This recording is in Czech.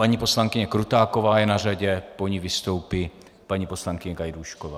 Paní poslankyně Krutáková je na řadě, po ní vystoupí paní poslankyně Gajdůšková.